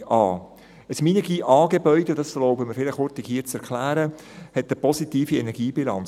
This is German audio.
Ein Minergie-A-Gebäude – ich erlaube mir, dies hier kurz zu erklären – hat eine positive Energiebilanz;